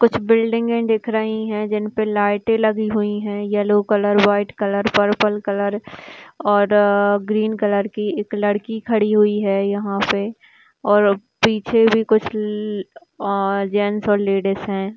कुछ बिल्डिंगे दिख रही है जिनपे लाइटे लगी हुई है yellow colour white colour purple colour और ग्रीन कलर की एक लड़की खड़ी हुई है यहा पे और पीछे भी कुछ ल ल अ जेन्स और लेडिस है।